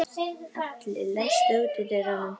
Alli, læstu útidyrunum.